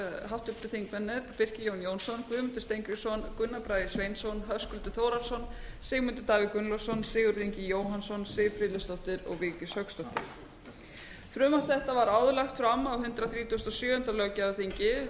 háttvirtir þingmenn birkir jón jónsson guðmundur steingrímsson gunnar bragi sveinsson höskuldur þórhallsson sigmundur davíð gunnlaugsson sigurður ingi jóhannsson siv friðleifsdóttir og vigdís hauksdóttir frumvarp þetta var áður lagt fram á hundrað þrítugasta og sjöunda löggjafarþingi það